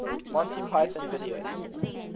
monty python videos